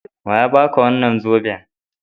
Wa ya ba ka wannan zoben?